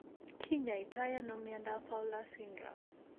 Kinyoito ano miondap Fowler's syndrome?